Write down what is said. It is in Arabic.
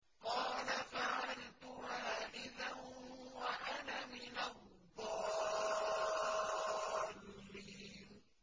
قَالَ فَعَلْتُهَا إِذًا وَأَنَا مِنَ الضَّالِّينَ